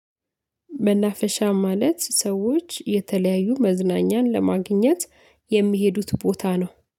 መናፈሻ ማለት ሰዎች የተለያዩ መዝናኛን ለማግኘት የሚሄዱበት ቦታ ነው